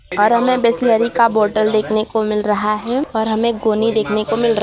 और हमे बिसलेरी का बॉटल देखने को मिल रहा है और हमे गोनी देखने को मिल र--